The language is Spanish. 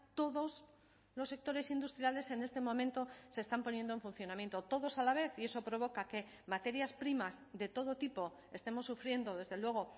todos los sectores industriales en este momento se están poniendo en funcionamiento todos a la vez y eso provoca que materias primas de todo tipo estemos sufriendo desde luego